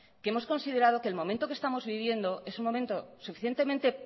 que hemos considerado que el momento que estamos viviendo es un momento suficientemente